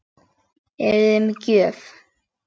Eruði með gjöf?